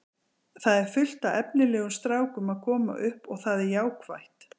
Það er fullt af efnilegum strákum að koma upp og það er jákvætt.